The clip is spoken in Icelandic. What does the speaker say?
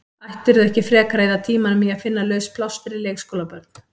Ættirðu ekki frekar að eyða tímanum í að finna laus pláss fyrir leikskólabörn?